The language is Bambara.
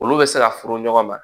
Olu bɛ se ka furu ɲɔgɔn ma